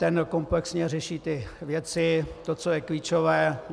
Ten komplexně řeší ty věci, to, co je klíčové.